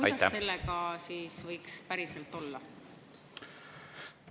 Kuidas sellega võiks päriselt olla?